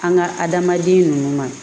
An ka adamaden ninnu ma